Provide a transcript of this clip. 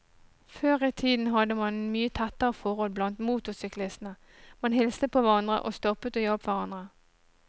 Før i tiden hadde man mye tettere forhold blant motorsyklistene, man hilste på hverandre og stoppet og hjalp hverandre.